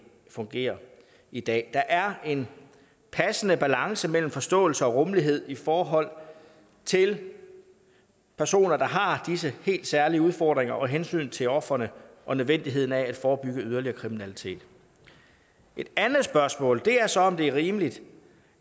fungerer i dag der er en passende balance mellem forståelse og rummelighed i forhold til personer der har disse helt særlige udfordringer og hensynet til ofrene og nødvendigheden af at forebygge yderligere kriminalitet et andet spørgsmål er så om det er rimeligt